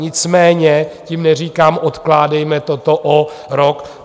Nicméně tím neříkám, odkládejme toto o rok.